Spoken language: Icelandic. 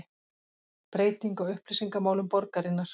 Breyting á upplýsingamálum borgarinnar